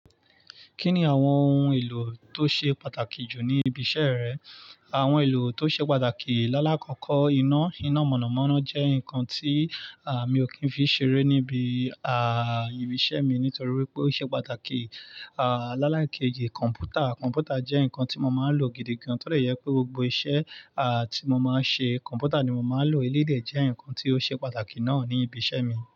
Kí ni àwọn ohun èlò tó ṣe pàtàkì jù ní ibi iṣẹ́ rẹ? Àwọn ohun èlò tó ṣe pàtàkì, lálákọ́kọ́ iná, iná mọ̀nàmọ́ná jẹ́ nǹkan tí, à, mi ò kí n fi ṣeré níbi, àà, ibi iṣẹ́ mi nítorí pé ó ṣe pàtàkì. À, láláìkejì kọ̀ǹpútà, kọ̀ǹpútà jẹ́ nǹkan tí mo máa ń lò gidi gan, torí ẹ yẹ pé gbogbo iṣẹ́, à, tí mo máa ń ṣe kọ̀ǹpútà ni mo máa ń lò. Elédè jẹ́ nǹkan tí ó ṣe pàtàkì náà ní ibi iṣẹ́ mi.